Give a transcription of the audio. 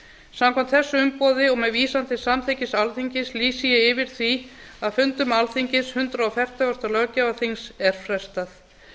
samkvæmt þessu umboði og með vísan til samþykkis alþingis lýsi ég yfir því að fundum alþingis hundrað fertugasta löggjafarþings er frestað